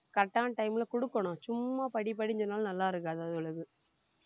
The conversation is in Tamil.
correct ஆன time ல கொடுக்கணும் சும்மா படி படின்னு சொன்னாலும் நல்லா இருக்காது அதுகளுக்கு